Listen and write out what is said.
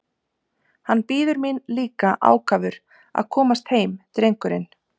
Hann bíður mín líka ákafur að komast heim drengurinn!